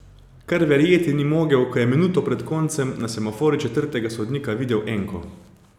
Kar verjeti ni mogel, ko je minuto pred koncem na semaforju četrtega sodnika videl enko.